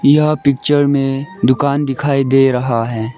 यह पिक्चर में दुकान दिखाई दे रहा है।